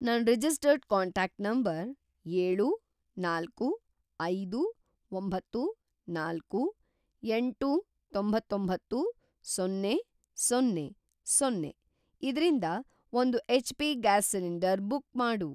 ನನ್‌ registered contact number ಏಳು, ನಾಲ್ಕು, ಐದು, ಒಂಬತ್ತು, ನಾಲ್ಕು, ಎಂಟು, ತೊಂಬತ್ತೊಂಬತ್ತು, ಸೊನ್ನೆ, ಸೊನ್ನೆ, ಸೊನ್ನೆ ಇದ್ರಿಂದ ಒಂದು ಹೆಚ್.ಪಿ. ಗ್ಯಾಸ್‌ ಸಿಲಿಂಡರ್‌ ಬುಕ್‌ ಮಾಡು.